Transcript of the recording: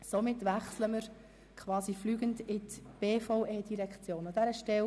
Somit wechseln wir quasi fliegend zu den Geschäften der BVE.